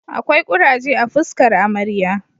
Akwai kuraje a fuskar amarya